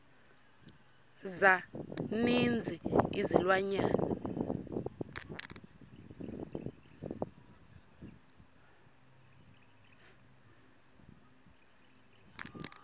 za ninzi izilwanyana